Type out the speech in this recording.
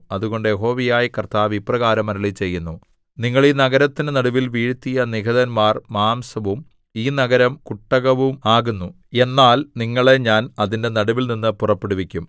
അതുകൊണ്ട് യഹോവയായ കർത്താവ് ഇപ്രകാരം അരുളിച്ചെയ്യുന്നു നിങ്ങൾ ഈ നഗരത്തിന്റെ നടുവിൽ വീഴ്ത്തിയ നിഹതന്മാർ മാംസവും ഈ നഗരം കുട്ടകവും ആകുന്നു എന്നാൽ നിങ്ങളെ ഞാൻ അതിന്റെ നടുവിൽനിന്ന് പുറപ്പെടുവിക്കും